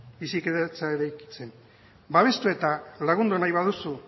bizikidetza eraikitzen babestu eta lagundu nahi baduzu